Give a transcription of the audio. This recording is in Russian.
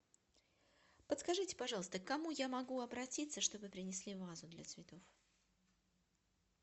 подскажите пожалуйста к кому я могу обратиться чтобы принесли вазу для цветов